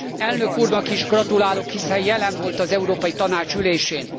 Elnök úrnak is gratulálok, hiszen jelen volt az Európai Tanács ülésén.